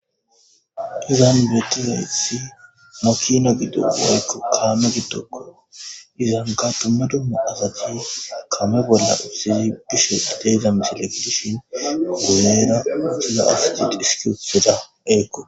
izaan betea ithi mokina gidogo yako kaame gitoko izangatomadomo agatiy kamebola usi bisho gitegamsi lekidishin ogubeera mukiza afstit iskusera eeqo